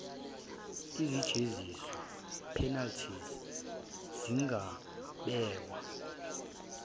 izijeziso penalties zingabekwa